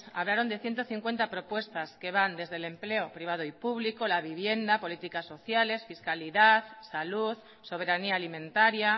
hablaron de ciento cincuenta propuestas que van desde el empleo privado y público la vivienda políticas sociales fiscalidad salud soberanía alimentaria